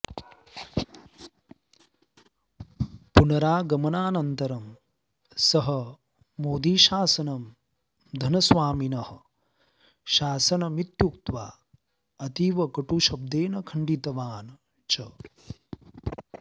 पुनरागमनान्तरं सः मोदीशासनं धनस्वामिनः शासनमित्युक्त्वा अतीव कटुशब्देन खण्डितवान् च